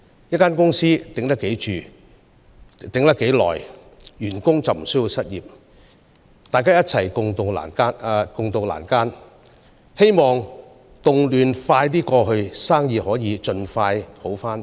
一間公司能長久堅持得住，員工便不會失業，大家可以一起共渡難關，待動亂過後，生意可以盡快恢復。